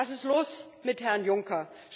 Was ist los mit Herrn Juncker?